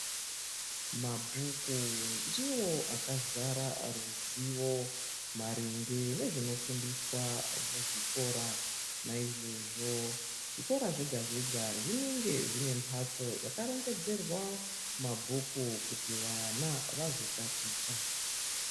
Mabhuku ndiwo akazara ruzivo maringe nezvinofundiswa muzvikora naizvozvo zvikora zvega zvega zvinenge zvine mbatso yakarongedzerwa mabhuku kuti vana vazotaticha